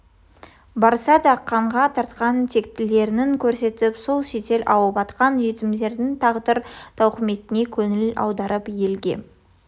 барса да қанға тартқан тектіліктерін көрсетіп сол шетел ауып кеткен жетімдердің тағдыр-тауқыметіне көңіл аударып елге